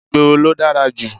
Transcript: Ìgboro ló dára jù.